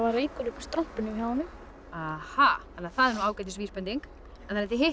reykur upp úr strompinum hjá honum það er nú ágætis vísbending þannig að þið